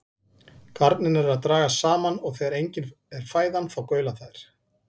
Garnirnar eru að dragast saman og þegar engin er fæðan þá gaula þær.